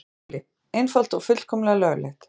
SKÚLI: Einfalt og fullkomlega löglegt.